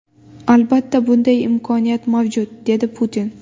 Albatta, bunday imkoniyat mavjud”, dedi Putin.